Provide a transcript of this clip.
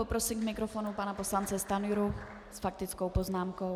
Poprosím k mikrofonu pana poslance Stanjuru s faktickou poznámkou.